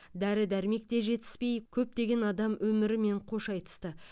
дәрі дәрмек те жетіспей көптеген адам өмірімен қош айтысты